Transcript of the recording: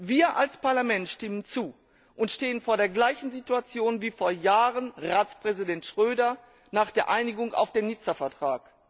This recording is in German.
Wir als Parlament stimmen zu und stehen vor der gleichen Situation wie vor Jahren Ratspräsident Schröder nach der Einigung auf den Nizza Vertrag.